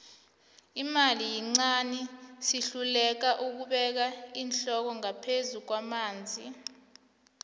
imali yincani sihluleka ukubeka iinhloko ngaphezu kwamanzi